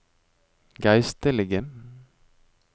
geistlige